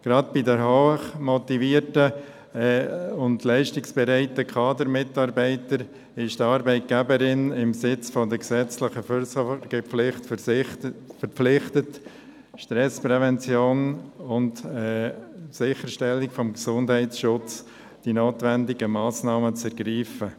Gerade bei hochmotivierten und leistungsbereiten Kadermitarbeitenden ist die Arbeitgeberin angesichts der gesetzlichen Fürsorgepflicht verpflichtet, die notwendigen Massnahmen zur Stressprävention und zur Sicherstellung des Gesundheitsschutzes zu ergreifen.